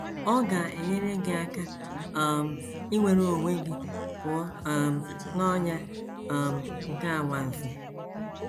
Ọ ga - enyere gị aka um inwere onwe gị pụọ um n’ọnyà um nke anwansi.